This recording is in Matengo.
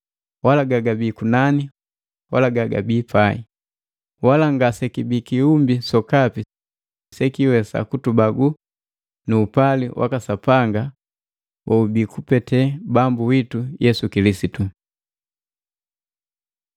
wala gagabii kunani wala gagabii pai. Wala ngasekibii kiumbi sokapi sekiwesa kututenga nu upali waka Sapanga woubii kupete Bambu witu Yesu Kilisitu.